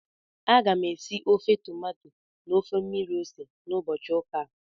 Aga m esi ofe tomato na ofe mmiri ose n'ụbọchị ụka a